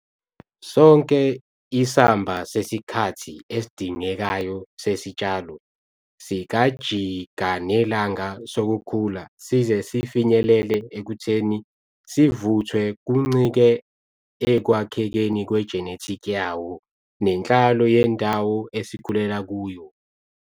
Sonke isamba sesikhathi esidingekayo sesitshalo sikajikanelanga sokukhula size sifinyelele ekutheni sivuthwe kuncike ekwakhekeni kwe-genetic yawo nenhlalo yendawo esikhulela kuyo.